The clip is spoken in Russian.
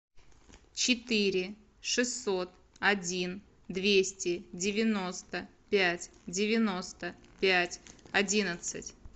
четыре шестьсот один двести девяносто пять девяносто пять одиннадцать